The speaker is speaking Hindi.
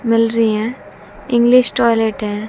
मिल रहे हैं इंग्लिश टॉयलेट है।